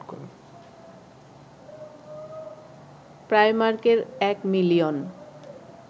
প্রাইমার্কের ১ million